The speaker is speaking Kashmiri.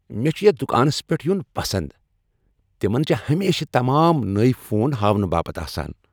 مےٚ چھ یتھ دُکانس پیٹھ یُن پسند ۔ تِمن چھِ ہمیشہٕ تمام نٔوۍ فون ہاونہٕ باپت آسان۔